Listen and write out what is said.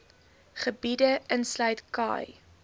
gebiede insluit khai